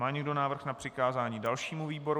Má někdo návrh na přikázání dalšímu výboru?